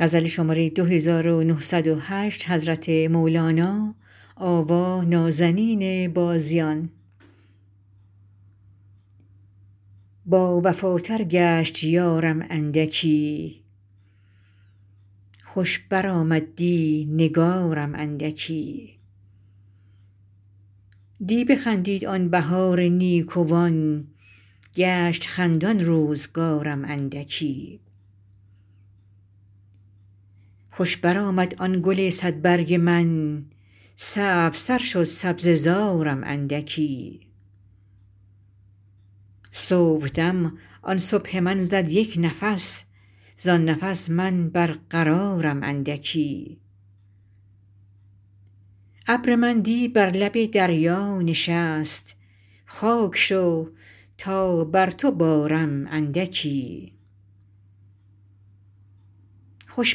باوفاتر گشت یارم اندکی خوش برآمد دی نگارم اندکی دی بخندید آن بهار نیکوان گشت خندان روزگارم اندکی خوش برآمد آن گل صدبرگ من سبزتر شد سبزه زارم اندکی صبحدم آن صبح من زد یک نفس زان نفس من برقرارم اندکی ابر من دی بر لب دریا نشست خاک شو تا بر تو بارم اندکی خوش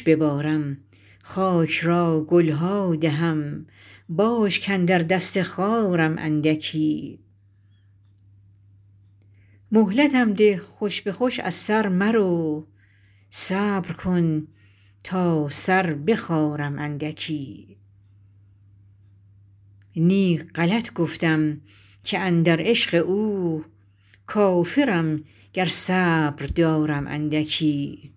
ببارم خاک را گل ها دهم باش کاندر دست خارم اندکی مهلتم ده خوش به خوش از سر مرو صبر کن تا سر بخارم اندکی نی غلط گفتم که اندر عشق او کافرم گر صبر دارم اندکی